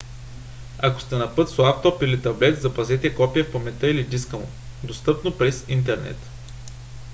ако сте на път с лаптоп или таблет запазете копие в паметта или диска му достъпно без интернет